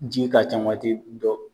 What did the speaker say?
Ji ka ca wati dɔw.